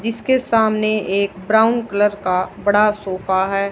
जिसके सामने एक ब्राउन कलर का बड़ा सोफा है।